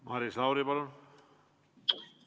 Maris Lauri, palun!